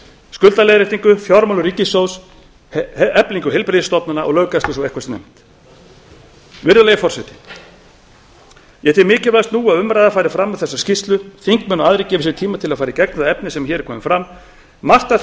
skuldaleiðréttingu fjármálum ríkissjóðs eflingu heilbrigðisstofnana og löggæslu svo eitthvað sé nefnt virðulegi forseti ég tel mikilvægast nú að umræða fari fram um þessa skýrslu þingmenn og aðrir gefi sér tíma til að fara í gegnum það efni sem hér er komið fram margt af